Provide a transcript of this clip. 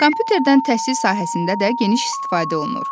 Kompüterdən təhsil sahəsində də geniş istifadə olunur.